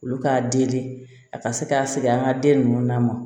Olu k'a deli a ka se k'a sɛgɛn an ka den ninnu na